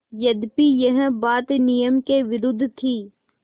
यद्यपि यह बात नियम के विरुद्ध थी